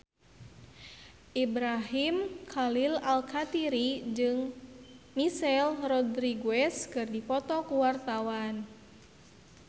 Ibrahim Khalil Alkatiri jeung Michelle Rodriguez keur dipoto ku wartawan